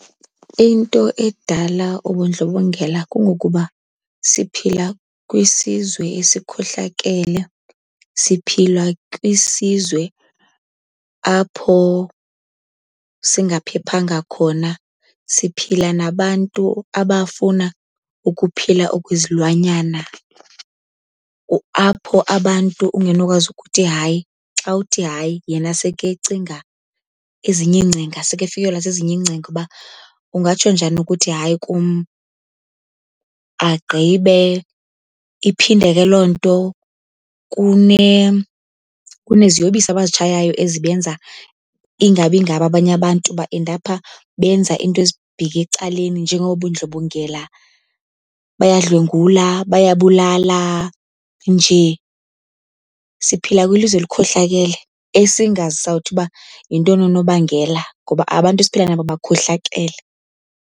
Into edala ubundlobongela kungokuba siphila kwisizwe esikhohlakele, siphila kwisizwe apho singaphephanga khona. Siphila nabantu abafuna ukuphila okwezilwanyana apho abantu ungenokwazi ukuthi hayi. Xa uthi hayi, yena sekecinga ezinye iingcinga. Sekefikelwa zezinye iingcinga uba, ungatsho njani ukuthi hayi kum? Agqibe iphinde ke loo nto kuneziyobisi abazitshayayo ezibenza ingabi ngabo. Abanye abantu baendapha benza into ezibheke ecaleni njengobundlobongela, bayadlwengula, bayabulala. Nje siphila kwilizwe elikhohlakele esingazi sawuthi uba yintoni unobangela, ngoba abantu esiphila nabo bakhohlakele.